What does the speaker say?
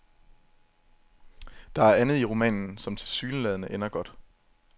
Der er andet i romanen, som tilsyneladende ender godt.